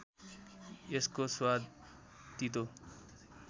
यसको स्वाद तीतो